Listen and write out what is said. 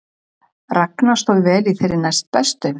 Ragna stóð vel í þeirri næstbestu